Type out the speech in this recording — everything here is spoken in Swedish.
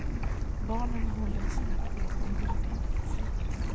Barnen håller sina gåvor hårt intill sig.